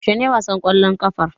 Yaushe ne wasan ƙwallon ƙafar?